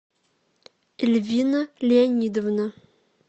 эльвина леонидовна